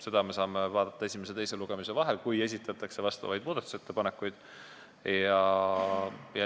Seda me saame vaadata esimese ja teise lugemise vahel, kui esitatakse vastavaid muudatusettepanekuid.